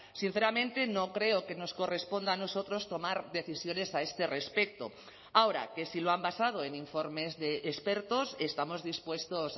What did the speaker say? sinceramente no creo que nos corresponda a nosotros tomar decisiones a este respecto ahora que si lo han basado en informes de expertos estamos dispuestos